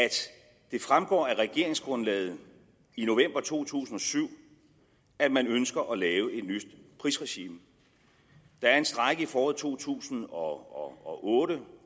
det fremgår af regeringsgrundlaget i november to tusind og syv at man ønsker at lave et nyt prisregime der er en strejke i foråret to tusind og otte